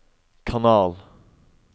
kanal